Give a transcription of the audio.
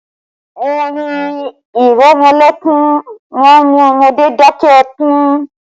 Orin ìrẹmọlẹ́kún má ń mú ọmọdé dakẹ́ ẹkún